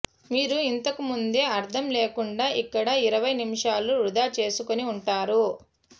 మీరు ఇంతకుముందే అర్థం లేకుండా ఇక్కడ ఇరవై నిమిషాలు వృధా చేసుకుని ఉంటారు